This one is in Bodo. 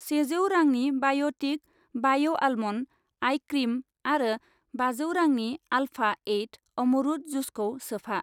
सेजौ रांनि बाय'टिक बाय' आलमन्ड आइ क्रिम आरो बाजौ रांनि आल्फा एइट अमरुद जुसखौ सोफा।